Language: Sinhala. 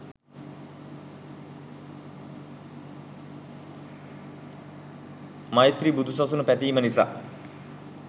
මෛත්‍රී බුදු සසුන පැතීම නිසා